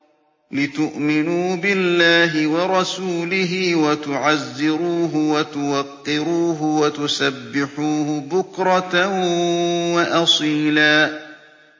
لِّتُؤْمِنُوا بِاللَّهِ وَرَسُولِهِ وَتُعَزِّرُوهُ وَتُوَقِّرُوهُ وَتُسَبِّحُوهُ بُكْرَةً وَأَصِيلًا